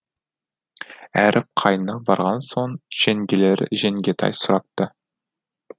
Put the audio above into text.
әріп қайнына барған соң жеңгелері жеңгетай сұрапты